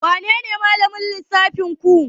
Wanene malamin lissafinku?